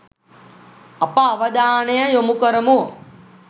අප අවධානය යොමු කරමු.